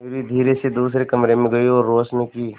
मयूरी धीरे से दूसरे कमरे में गई और रोशनी की